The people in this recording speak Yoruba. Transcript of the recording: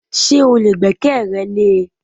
Ṣé o lè gbẹ́kẹ̀rẹ lé e?